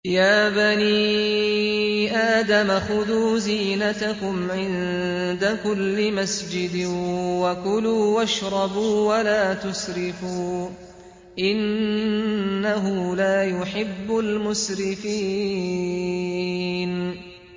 ۞ يَا بَنِي آدَمَ خُذُوا زِينَتَكُمْ عِندَ كُلِّ مَسْجِدٍ وَكُلُوا وَاشْرَبُوا وَلَا تُسْرِفُوا ۚ إِنَّهُ لَا يُحِبُّ الْمُسْرِفِينَ